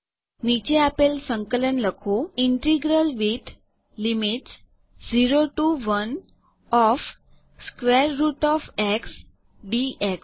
નીચે આપેલ સંકલન લખો integral with limits 0 T O 1 O F square root O F x dx